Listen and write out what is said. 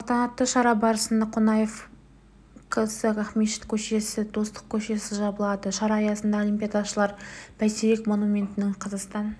салтанатты шара барысында қонаев к-сі ақмешіт көшесі достық көшесі жабылады шара аясында олимпиадашылар бәйтерек монументінен қазақстан